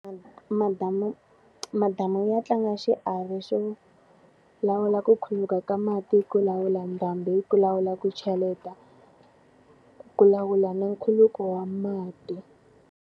Madamu madamu ya tlanga xiave xo lawula ku khuluka ka mati, ku lawula ndhambi, yi ku lawula ku cheleta, ku lawula na nkhuluko wa mati.